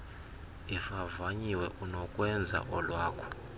ivavanyiwe unokwenza olwakho